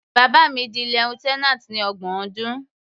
Bàbá mi di lieutenant ní ọgbọ̀n ọdún.